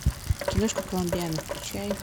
киношка коломбиана включай